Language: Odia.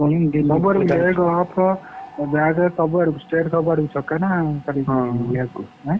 ସବୁଆଡୁ leg off ସବୁଆଡକୁ state ସବୁଆଡକୁ ଛକା ନା ଖାଲି left ଏଁ?